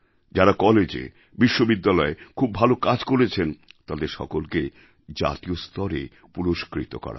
যাঁরা কলেজে বিশ্ববিদ্যালয়ে খুব ভালো কাজ করেছেন তাঁদের সকলকে জাতীয় স্তরে পুরস্কৃত করা হবে